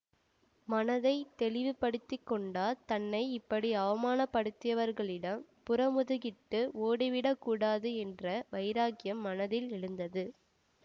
மனத்தை தெளிவு படுத்தி கொண்டார் தன்னை இப்படி அவமானப் படுத்தியவர்களிடம் புறமுதுகிட்டு ஓடிவிடக் கூடாது என்ற வைராக்கியம் மனத்தில் எழுந்தது